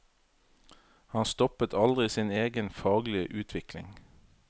Han stoppet aldri sin egen faglige utvikling.